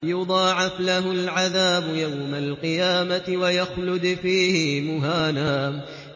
يُضَاعَفْ لَهُ الْعَذَابُ يَوْمَ الْقِيَامَةِ وَيَخْلُدْ فِيهِ مُهَانًا